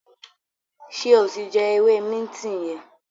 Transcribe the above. ṣe o tí jé ewé Minti yen?